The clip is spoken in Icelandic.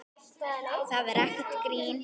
Það er ekkert grín.